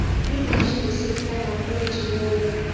feed machine dey save time and energy well well